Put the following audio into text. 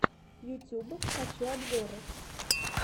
ютуб хочу обзоры